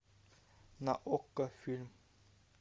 на окко фильм